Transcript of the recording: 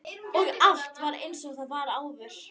Og allt er einsog það var áður.